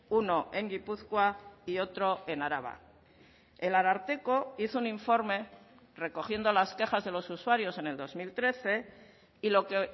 uno en gipuzkoa y otro en araba el ararteko hizo un informe recogiendo las quejas de los usuarios en el dos mil trece y lo que